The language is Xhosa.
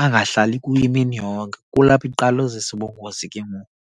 Angahlali kuyo imini yonke, kulapho iqala uzisa ubungozi ke ngoku.